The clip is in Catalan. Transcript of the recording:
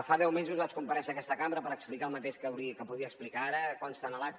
fa deu mesos vaig comparèixer en aquesta cambra per explicar el mateix que podria explicar ara consta en l’acta